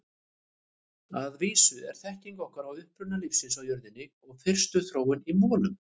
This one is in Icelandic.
Að vísu er þekking okkar á uppruna lífsins á jörðinni og fyrstu þróun í molum.